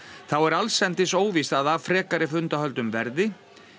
þá er allsendis óvíst að af frekari fundahöldum verði